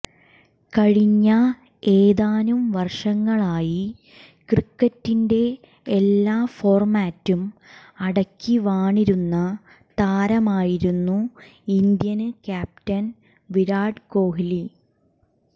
കഴിഞ്ഞ ഏതാനും വര്ഷങ്ങളായി ക്രിക്കറ്റിന്റെ എല്ലാ ഫോര്മാറ്റും അടക്കിവാണിരുന്ന താരമായിരുന്നു ഇന്ത്യന് ക്യാപ്റ്റന് വിരാട് കോലി